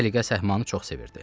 Səliqə-səhmanı çox sevirdi.